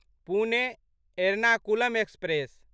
Pune Ernakulam express